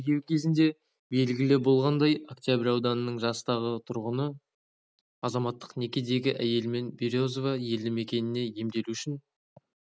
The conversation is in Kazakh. тергеу кезінде белгілі болғандай октябрь ауданының жастағы тұрғыны азаматтық некедегі әйелімен березова елді мекеніне емделу үшін